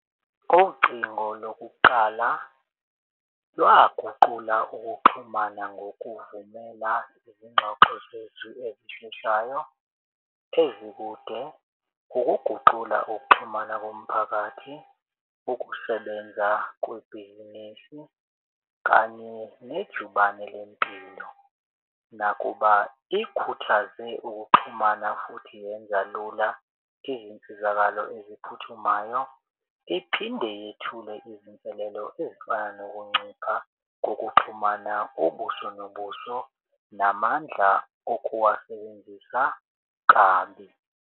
Ugcingo lokuqala lwaguqula ukuxhumana ngokuvumela izingxoxo zethu ezishintshayo ezikude, ukuguqula ukuxhumana komphakathi, ukusebenza kwebhizinisi kanye nejubane lempilo. Nakuba ikhuthaze ukuxhumana futhi yenza lula izinsizakalo eziphuthumayo. Iphinde ithule izinselelo ezifana nokuncipha kokuxhumana ubuso nobuso namandla okuwasebenzisa kabi.